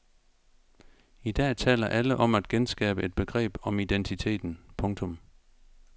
I dag taler alle om at genskabe et begreb om identiteten. punktum